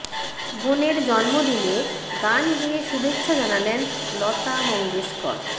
বোনের জন্মদিনে গান গেয়ে শুভেচ্ছা জানালেন লতা মঙ্গেশকর